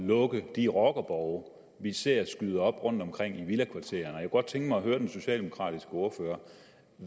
lukke de rockerborge vi ser skyde op rundtomkring i villakvartererne jeg kunne godt tænke mig at høre den socialdemokratiske ordfører